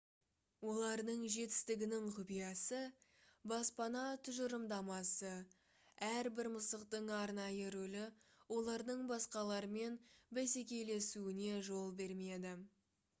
олардың жетістігінің құпиясы баспана тұжырымдамасы әрбір мысықтың арнайы рөлі олардың басқалармен бәсекелесуіне жол бермейді